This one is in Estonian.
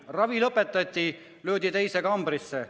Ravi lõpetati ja löödi teise kambrisse.